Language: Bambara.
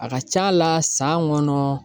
A ka ca a la san kɔnɔ